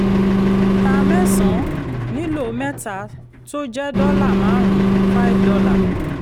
ta mẹ́san nílò méta tó jẹ́ dọ́là márùn-ún five dollar